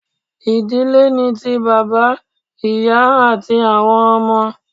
Idile ni ti baba, iya ati awọn ọmọ